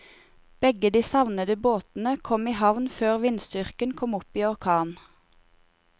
Begge de savnede båtene kom i havn før vindstyrken kom opp i orkan.